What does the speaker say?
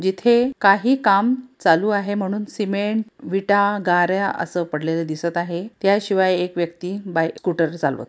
येथे काही काम चालू आहे म्हणून सिमेंट विटा गाऱ्या पडलेल्या दिसत आहे त्याशिवाय एक व्यक्ती बाईक स्कूटर चालवत--